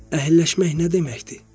Əhəlləşmək nə deməkdir?